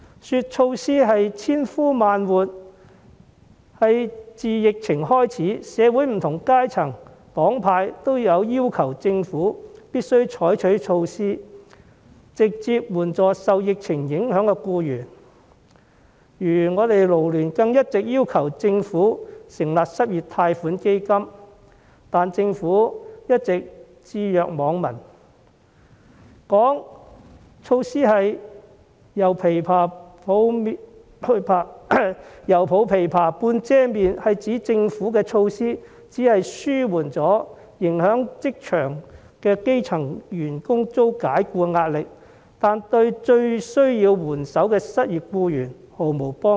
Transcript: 說措施是"千呼萬喚"，是因為自疫情爆發以來，社會不同階層和黨派均要求政府必須採取措施，直接援助受疫情影響的僱員，如港九勞工社團聯會更一直要求政府成立失業貸款基金，但政府一直置若罔聞；說措施是"猶抱琵琶半遮面"，是指政府的措施只紓緩了仍在職場的基層員工遭解僱的壓力，但對最需要援手的失業僱員毫無幫助。